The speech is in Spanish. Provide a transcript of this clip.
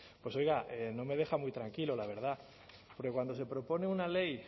pues oiga no me deja muy tranquilo la verdad porque cuando se propone una ley